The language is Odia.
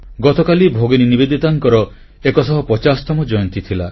ଗତକାଲି ଭଗିନୀ ନିବେଦିତାଙ୍କର ଏକଶହ ପଚାଶତମ ଜୟନ୍ତୀ ଥିଲା